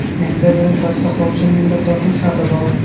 Menda buni tasdiqlovchi minnatdorlik xati bor.